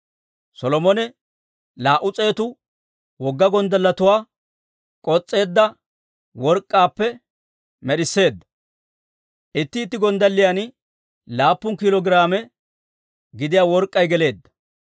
Solomone laa"u s'eetu wogga gonddalletuwaa k'os's'eedda work'k'aappe med'isseedda; itti itti gonddalliyan laappun kiilo giraame gidiyaa work'k'ay geleedda.